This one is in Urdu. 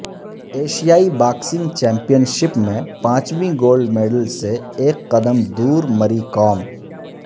ایشیائی باکسنگ چیمپئن شپ میں پانچویں گولڈ میڈل سے ایک قدم دور مری کام